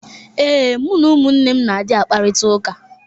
Ee, mụ na ụmụnne m na-adị akparịtaụka.